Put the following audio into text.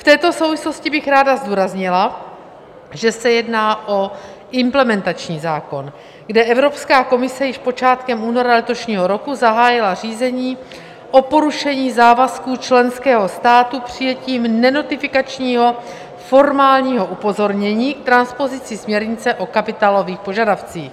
V této souvislosti bych ráda zdůraznila, že se jedná o implementační zákon, kde Evropská komise již počátkem února letošního roku zahájila řízení o porušení závazků členského státu přijetím nenotifikačního formálního upozornění k transpozici směrnice o kapitálových požadavcích.